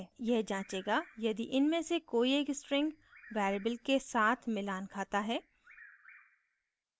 यह जाँचेगा यदि इनमें से कोई एक स्ट्रिंगvariable के साथ मिलान खाता है